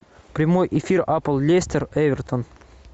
прямой эфир апл лестер эвертон